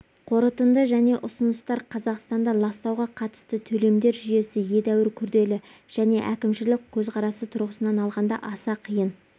қорытынды және ұсыныстар қазақстанда ластауға қатысты төлемдер жүйесі едәуір күрделі және әкімшілік көзқарасы тұрғысынан алғанда аса қиын